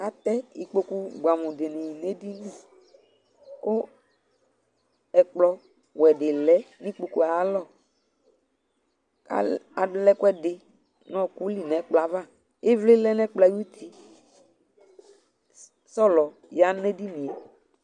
Atɛ ikpoku bʋɛamʋnɩ nʋ edini kʋ ɛkplɔwɛ dɩ lɛ nʋ ikpoku yɛ ayalɔ Al alɛ ɛkʋɛdɩ nʋ ɔɣɔkʋ li nʋ ɛkplɔ yɛ ava Ɩvlɩ lɛ nʋ ɛkplɔ yɛ ayuti Sɔlɔ ya nʋ edini yɛ